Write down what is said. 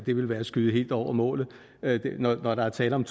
det ville være at skyde helt over målet når der er tale om